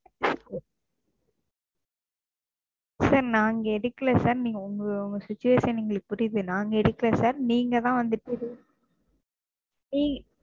Sir நாங்க எடுக்கலை Sir நீங்க உங்க உங்களோட Situation எங்களுக்கு புரியுது நாங்க எடுக்கலை Sir நீங்க தான் வந்துட்டு